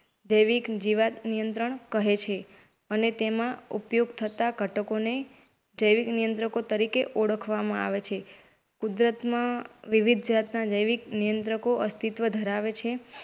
જૈવક જીવાત નિયંત્રણ કહે અને તેમાં ઉપયોગ થતા ઘટકો ને જૈવિક નિયંત્રકો તરીકે ઓળખવામાં આવે છે. કૂદરત માં વિવિધ જૈવિક નિયંત્રકો અસ્તિત્વ ધરાવે છે.